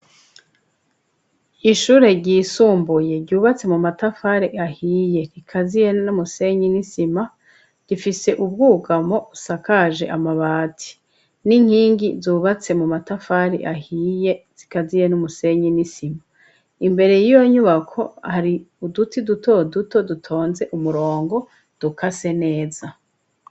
Ishure ryisumbuye ryubatse mu matafari ahiye rikaziye n'umusenyi nisima gifise ubwugamo usakaje amabati n'inkingi zubatse mu matafari ahiye zikaziye n'umusenye nisima imbere y'iyo nyubako hari uduti dutoduo dutonze umurongo duka se neza.